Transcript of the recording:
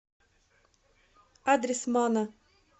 адрес мана